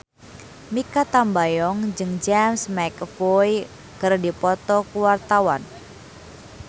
Mikha Tambayong jeung James McAvoy keur dipoto ku wartawan